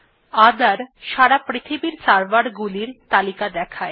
ওঠের সারা পৃথিবীর server গুলির তালিকা দেখায়